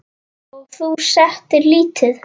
Og þú settir lítið?